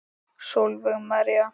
Sólveig María.